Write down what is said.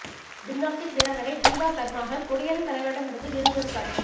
gymnastic வீராங்கனை தீபா கர்மாகர் குடியரசு தலைவரிடம் இருந்து விருது பெறும் காட்சி